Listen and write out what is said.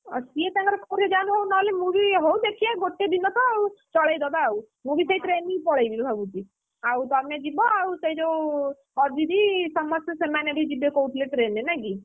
ସିଏ ତାଙ୍କର କୋଉଥିରେ ଯାଆନ୍ତୁ ହଉ ନହଲେ ମୁଁ ବି ହଉ ଦେଖିବା ଗୋଟେ ଦିନ ତ ଆଉ, ଚଳେଇଦବା ଆଉ, ମୁଁ ବି ସେଇ train ରେ ହିଁ ପଳେଇବି ବୋଲି ଭାବୁଛି, ଆଉ ତମେ ଯିବ ସେ ଯୋଉ, ଅଜିତ, ସମସ୍ତେ ସେମାନେ ବି ଯିବେ କହୁଥିଲେ train ରେ ନାଇଁ କି?